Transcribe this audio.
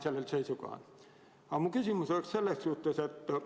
Aga mu küsimus on selline.